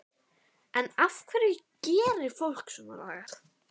En af hverju gerir fólk svona lagað?